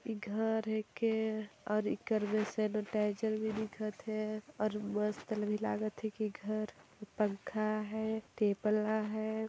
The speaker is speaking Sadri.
ई घर हेके और इकर मे सेनीटाइजर भी दिखत है और मस्तन भी लागत है की घर पंखा है टेबल आ हैं ।